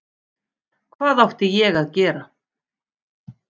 Hvað átti ég að gera?